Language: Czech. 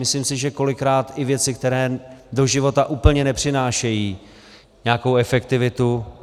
Myslím si, že kolikrát i věci, které do života úplně nepřinášejí nějakou efektivitu.